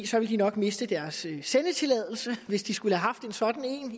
så ville de nok miste deres sendetilladelse hvis de skulle have haft en sådan